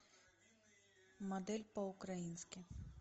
модель по украински